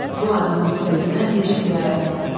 Bu adamın diqqətindən heç nə yayınmırdı.